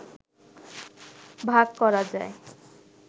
ভাগ করা যায়